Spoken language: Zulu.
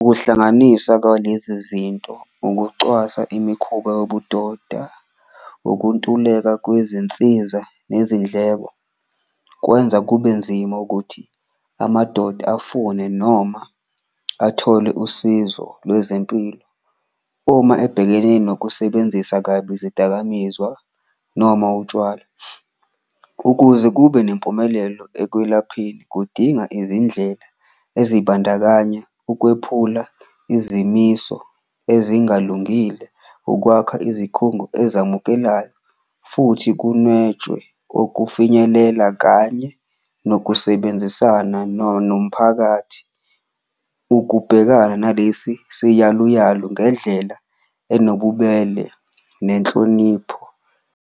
Ukuhlanganisa kwalezi zinto ukucwasa imikhuba yobudoda, ukuntuleka kwezinsiza nezindleko kwenza kube nzima ukuthi amadoda afune noma athole usizo lwezempilo, uma ebhekene nokusebenzisa kabi izidakamizwa noma utshwala. Ukuze kube nempumelelo ekwelapheni kudinga izindlela ezibandakanya ukwephula izimiso ezingalungile, ukwakha izikhungo ezamukelayo futhi kunwetshwe okufinyelela kanye nokusebenzisana nomphakathi. Ukubhekana nalesi siyaluyalu ngendlela enobubele nenhlonipho.